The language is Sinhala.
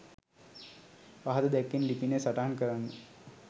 පහත දැක්වෙන ලිපිනය සටහන් කරන්න.